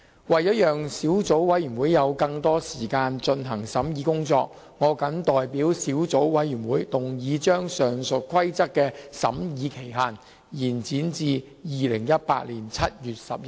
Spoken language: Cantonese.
為了讓小組委員會有更多時間進行審議工作，我謹代表小組委員會，動議將上述規則的審議期限，延展至2018年7月11日。